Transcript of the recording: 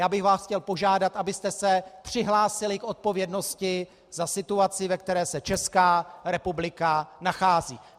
Já bych vás chtěl požádat, abyste se přihlásili k odpovědnosti za situaci, ve které se Česká republika nachází.